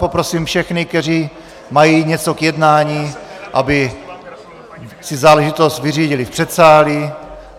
Poprosím všechny, kteří mají něco k jednání, aby si záležitost vyřídili v předsálí.